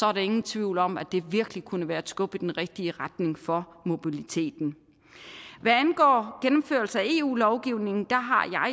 er der ingen tvivl om at det virkelig kunne være et skub i den rigtige retning for mobiliteten hvad angår gennemførelse af eu lovgivningen